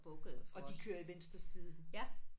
Og de kører i venstre side